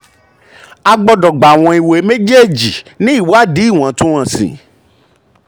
a gbọdọ̀ gbàwọ̀n ìwé mejeeji ní ìwádìí iwọntúnwọnsì.